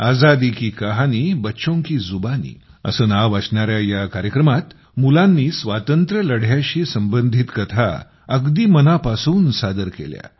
आजादी की कहानीबच्चों की जुबानी असे नाव असणाऱ्या या कार्यक्रमात मुलांनी स्वातंत्र्यलढ्याशी संबंधित कथा अगदी मनापासून सादर केल्या